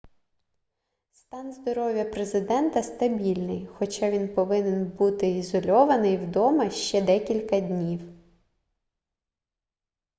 стан здоров'я президента стабільний хоча він повинен буди ізольований вдома ще декілька днів